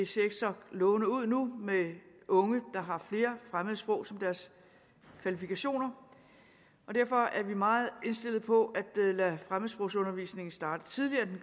ser så lovende ud nu med hensyn unge der har flere fremmedsprog som deres kvalifikationer og derfor er vi meget indstillet på at lade fremmedsprogsundervisningen starte tidligere